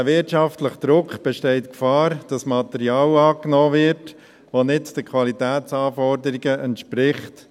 Durch diesen wirtschaftlichen Druck besteht die Gefahr, dass Material angenommen wird, das den Qualitätsanforderungen nicht entspricht.